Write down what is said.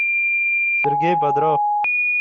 сергей бодров